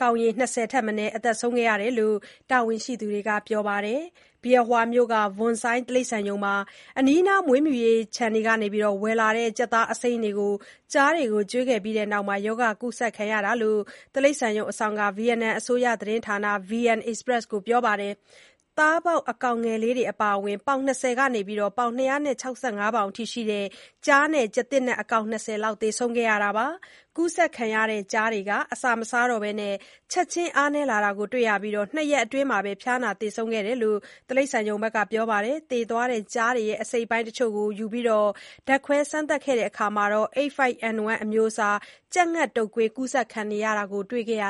ကောင်ရေ ၂၀ ထက်မနည်း သေဆုံးတယ် လို့ တာဝန်ရှိသူတွေက ပြောပါတယ်။ Bien Hoa မြို့က Vuon Xoai တိရစ္ဆာန်ရုံမှာ အနီးနား မွေးမြူရေး ခြံတွေကနေ ဝယ်လာတဲ့ ကြက်သားအစိမ်းတွေကို ကျားတွေကို ကျွေးခဲ့ပြီးတဲ့နောက် ရောဂါကူးစက်ခံခဲ့ရတာလို့ တိရစ္ဆာန်ရုံ အစောင့်က ဗီယက်နမ် အစိုးရသတင်းဌာန VN Express ကို ပြောပါတယ်။ သားပေါက် အကောင်ငယ်လေးတွေ အပါအဝင် ပေါင် ၂၀ ကနေ ၂၆၅ ပေါင်အထိ ရှိတဲ့ ကျားနဲ့ ကျားသစ်နက် အကောင် ၂၀ လောက် သေဆုံးခဲ့တာပါ။ ကူးစက်ခံရတဲ့ ကျားတွေဟာ အစာမစားတော့ဘဲ ချက်ချင်း အားနည်းလာတာကို တွေ့ခဲ့ရပြီး ၂ ရက်အတွင်းမှာပဲ ဖျားနာ သေဆုံးသွားခဲ့တာလို့ တိရစ္ဆာန်ရုံ မန်နေဂျာက ပြောပါတယ်။ သေသွားတဲ့ကျားတွေရဲ့ အစိတ်အပိုင်းတချို့ကို ယူပြီး ဓါတ်ခွဲစမ်းသပ်တာမှာ H5N1 အမျိုးအစား ကြက်ငှက်တုပ်ကွေး ကူးစက်နေတာကို တွေ့ခဲ့ရ